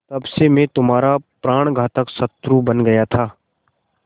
तब से मैं तुम्हारा प्राणघातक शत्रु बन गया था